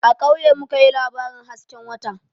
A kauye mu ka yi labarin hasken wata